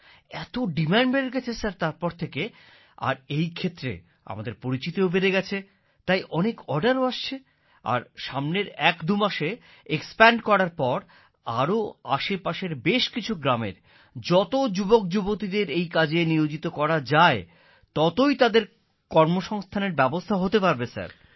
এত ডিমান্ড বেড়ে গেছে তারপর থেকে আর এই ক্ষেত্রে আমাদের পরিচিতিও বেড়ে গেছে তাই অনেক অর্ডারও আসছে আর সামনের একদুমাসে এক্সপ্যান্ড করার পর আরো আশেপাশের বেশ কিছু গ্রামের যত যুবকযুবতীদের এই কাজে নিয়োজিত করা যায় ততই তাদের কর্মসংস্থান এর ব্যবস্থা হতে পারবে স্যার